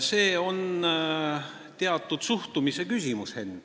See on teatud suhtumise küsimus, Henn.